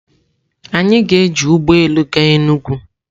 Anyị ga-eji ụgbọ elu gaa Enugwu.